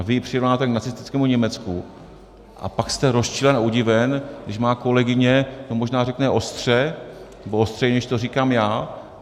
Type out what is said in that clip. A vy ji přirovnáte k nacistickému Německu a pak jste rozčílen a udiven, když má kolegyně to možná řekne ostře, nebo ostřeji, než to říkám já.